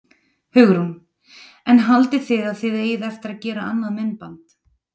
Hugrún: En haldið þið að þið eigið eftir að gera annað myndband?